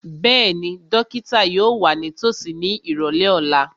Bẹ́ẹ̀ni, dókítà yóò wà nítòsí ní ìrọ̀lẹ́ ọ̀la